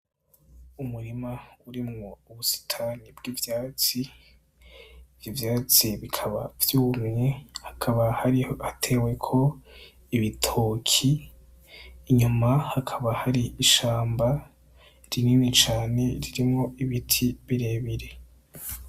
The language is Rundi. Umurima urimwo ubusitani bwivyatsi , ivyatsi bikaba vyumvye hakaba hariho ibitoki inyuma hakaba hari ishamba rinini cane ririmwo ibiti birebire.